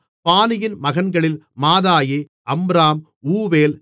பானியின் மகன்களில் Maadai Amram ஊவேல்